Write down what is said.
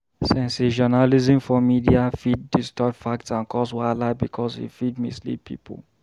Sensationalism for media fit distort facts and cause wahala because e fit mislead people.